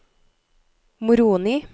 Moroni